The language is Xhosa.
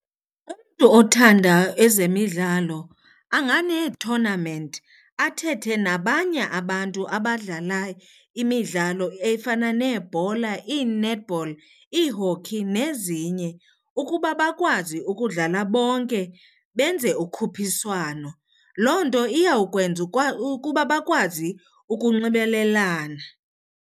Umntu othanda ezemidlalo anganeethonamenti athethe nabanye abantu abadlala imidlalo efana neebhola, ii-netball, ii-hockey nezinye ukuba bakwazi ukudlala bonke benze ukhuphiswano. Loo nto iyawukwenza ukuba bakwazi ukunxibelelana.